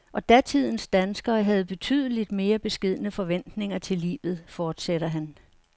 Og datidens danskere havde betydeligt mere beskedne forventninger til livet, fortsætter han.